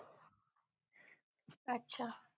अच्छा